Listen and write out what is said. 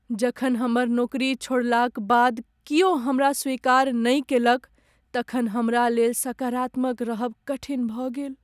जखन हमर नौकरी छोड़लाक बाद कियो हमरा स्वीकार नहि कयलक तखन हमरा लेल सकारात्मक रहब कठिन भऽ गेल।